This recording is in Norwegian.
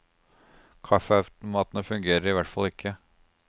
Kaffeautomatene fungerer i hvert fall ikke.